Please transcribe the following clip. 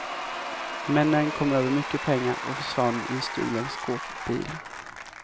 Männen kom över mycket pengar och försvann i en stulen skåpbil.